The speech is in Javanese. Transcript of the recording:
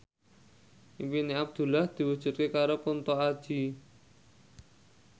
impine Abdullah diwujudke karo Kunto Aji